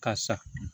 Karisa